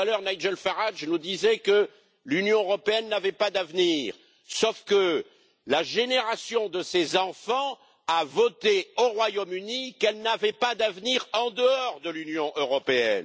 Tout à l'heure, Nigel Farage nous disait que l'Union européenne n'avait pas d'avenir, sauf que la génération de ses enfants a voté au Royaume Uni qu'elle n'avait pas d'avenir en dehors de l'Union européenne.